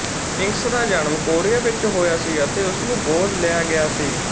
Mingus ਦਾ ਜਨਮ Korea ਵਿੱਚ ਹੋਇਆ ਸੀ ਅਤੇ ਉਸਨੂੰ ਗੋਦ ਲਿਆ ਗਿਆ ਸੀ